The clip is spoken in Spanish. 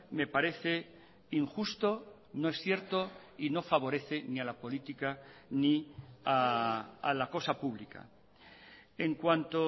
me parece injusto no es cierto y no favorece ni a la política ni a la cosa pública en cuanto